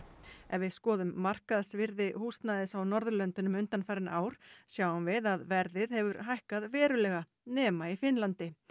ef við skoðum markaðsvirði húsnæðis á Norðurlöndunum undanfarin ár sjáum við að verðið hefur hækkað verulega nema í Finnlandi